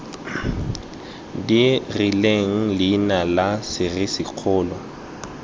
di rileng leina la serisikgolo